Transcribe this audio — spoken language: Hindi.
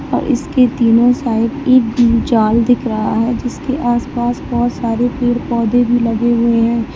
और इसके तीनों साइड एक जाल दिख रहा है जिसके आसपास बहुत सारे पेड़ पौधे भी लगे हुए हैं।